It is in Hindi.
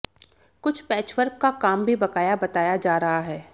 कुछ पैचवर्क का काम भी बकाया बताया जा रहा है